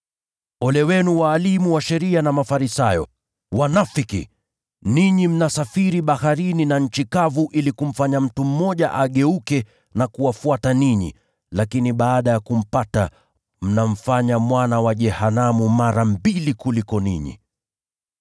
“Ole wenu walimu wa sheria na Mafarisayo, enyi wanafiki! Ninyi mnasafiri baharini na nchi kavu ili kumfanya mtu mmoja mwongofu, lakini baada ya kumpata, mnamfanya mwana wa jehanamu mara mbili kuliko ninyi!